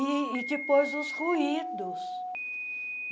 E e depois os ruídos.